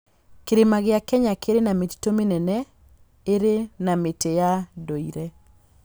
Kĩrĩma gĩa Kenya kĩrĩ na mĩtitũ mĩnene ĩrĩ na mĩtĩ ya ndũire.